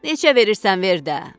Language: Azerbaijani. Neçə verirsən ver də.